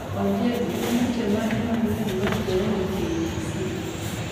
Ondiek gin weche mage manyien mayudore e k. b. c.